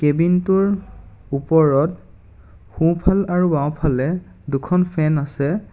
Cabin টোৰ ওপৰত সোঁফাল আৰু বাওঁফালে দুখন ফেন আছে।